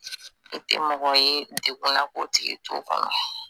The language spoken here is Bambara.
I tɛ mɔgɔ ye degun na k'o tigi t'o kɔnɔ.